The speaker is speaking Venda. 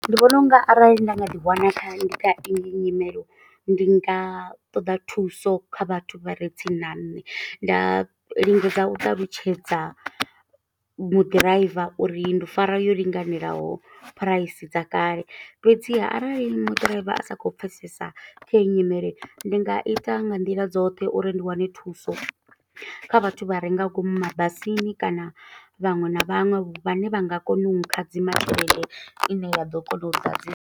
Ndi vhona unga arali nda nga ḓi wana kha, ndi kha iyo nyimelo. Ndi nga ṱoḓa thuso kha vhathu vha re tsini na nṋe, nda lingedza u ṱalutshedza muḓiraiva uri, ndo fara yo linganelaho phuraisi dza kale. Fhedziha arali mu ḓiraiva a sa khou pfesesa kha heyi nyimele, ndi nga ita nga nḓila dzoṱhe uri ndi wane thuso. Kha vhathu vha re nga ngomu mabasini kana vhaṅwe na vhaṅwe vhane vha nga kona u hadzima tshelede ine ya ḓo kona u ḓadzisa.